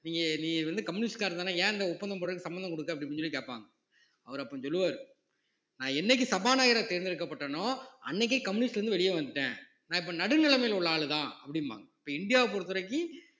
நீங்க நீ வந்து கம்யூனிஸ்ட்காரன்தானே ஏன் இந்த ஒப்பந்தம் போடுறதுக்கு சம்மந்தம் கொடுக்க அப்படின்னு சொல்லி கேட்பாங்க அவர் அப்ப சொல்லுவார் நான் என்னைக்கு சபாநாயகரை தேர்ந்தெடுக்கப்பட்டேனோ அன்னைக்கே கம்யூனிஸ்ட்ல இருந்து வெளியே வந்துட்டேன் நான் இப்ப நடுநிலைமையில உள்ள ஆளுதான் அப்படிம்பாங்க இப்ப இந்தியாவை பொறுத்தவரைக்கும்